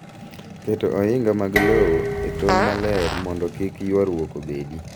Keto ohinga mag lowo e tong' maler mondo kik ywarruok obedi .